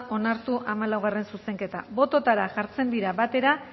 onartu zuzenketak bototara jartzen da